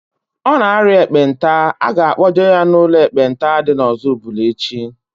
Ọ na aria ekpenta, a ga-kpọje ya n'ụlọ ekpenta dị n'Ozubulu echi